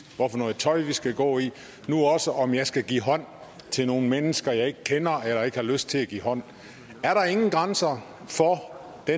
for noget tøj vi skal gå i og nu også om jeg skal give hånd til nogle mennesker jeg ikke kender eller ikke har lyst til at give hånd er der ingen grænser for det